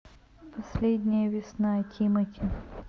последняя весна тимати